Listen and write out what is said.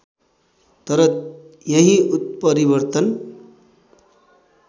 तर यही उत्परिवर्तन